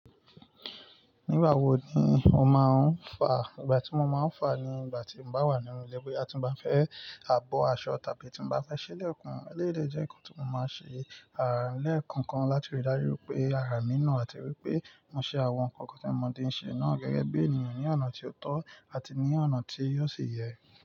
Nígbà wo ni o máa ń fà? Ìgbà tí mo máa ń fà ni ìgbà tí mo bá wà nínú ilé pé tí mo bá fẹ́ abọ́ aṣọ tàbí tí mo bá fẹ́ ṣẹlẹ̀ kàn. Élédè jẹ́ nǹkan tí mo máa ń ṣe, àrà lẹ́ẹ̀kọ̀kan láti rí dájú pé ara mi na àti wípé mo ṣe àwọn nǹkan kankan tí mo ti ń ṣe náà gẹ́gẹ́ bí ènìyàn ní ọ̀nà tí ó tọ́ àti ní ọ̀nà tí yóò sì yẹ.